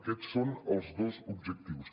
aquests són els dos objectius